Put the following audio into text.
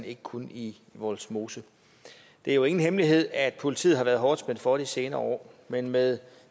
ikke kun i vollsmose det er jo ingen hemmelighed at politiet har været hårdt spændt for de senere år men med